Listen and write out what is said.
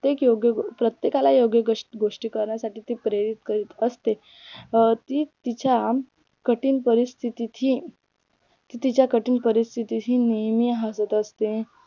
प्रत्येक योग्य प्रत्येकाला योग्य गोष्ट शिकवण्यासाठी ती प्रयत्न करीत असतेच अं ती तिच्या कठीण परिस्थितीत ही ती तिच्या कठीण परिस्थितीत ही नेहमी हासत असते